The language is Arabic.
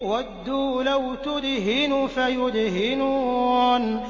وَدُّوا لَوْ تُدْهِنُ فَيُدْهِنُونَ